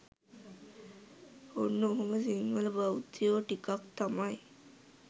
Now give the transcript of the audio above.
ඔන්න ඔහොම සිංහල බෞද්ධයෝ ටිකක් තමයි